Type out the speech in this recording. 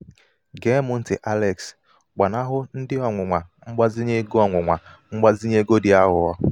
gee m ntì alex gbanahụ ndị ọnwụnwa mgbazinye ego ọnwụnwa mgbazinye ego dị aghụghọ.